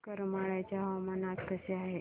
करमाळ्याचे हवामान आज कसे आहे